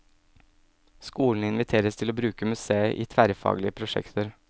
Skolene inviteres til å bruke museet i tverrfaglige prosjekter.